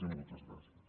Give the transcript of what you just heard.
i moltes gràcies